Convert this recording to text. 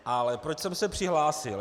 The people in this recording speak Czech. Ale proč jsem se přihlásil?